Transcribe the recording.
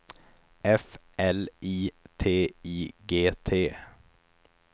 F L I T I G T